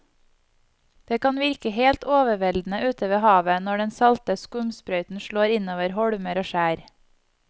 Det kan virke helt overveldende ute ved havet når den salte skumsprøyten slår innover holmer og skjær.